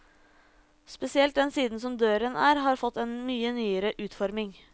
Spesielt den siden som døren er har fått en mye nyere utforming.